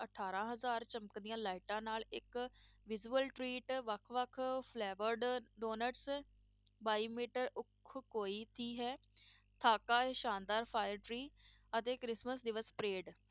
ਅਠਾਰਾਂ ਹਜ਼ਾਰ ਚਮਕਦੀਆਂ lights ਨਾਲ ਇੱਕ visual treat ਵੱਖ ਵੱਖ flavoured ਡੋਨਟਸ ਬਾਈ ਮੀਟਰ ਹੈ ਸ਼ਾਨਦਾਰ fire tree ਅਤੇ ਕ੍ਰਿਸਮਸ ਦਿਵਸ parade